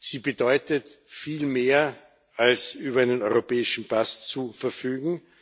Sie bedeutet viel mehr, als über einen europäischen Pass zu verfügen.